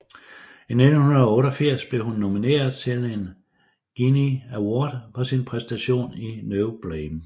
I 1988 blev hun nomineret til en Genie Award for sin præstation i No Blame